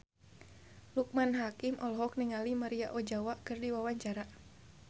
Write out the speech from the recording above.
Loekman Hakim olohok ningali Maria Ozawa keur diwawancara